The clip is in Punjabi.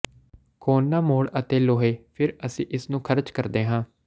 ਕੋਨਾ ਮੋੜ ਅਤੇ ਲੋਹੇ ਫਿਰ ਅਸੀਂ ਇਸ ਨੂੰ ਖਰਚ ਕਰਦੇ ਹਾਂ